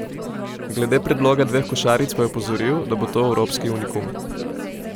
Glede predloga dveh košaric pa je opozoril, da bo to evropski unikum.